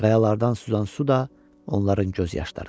Qayalardan süzən su da onların göz yaşlarıdır.